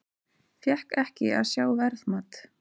Fékk ekki að sjá verðmat